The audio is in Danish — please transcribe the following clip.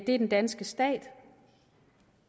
er den danske stat